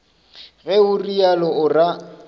ge o realo o ra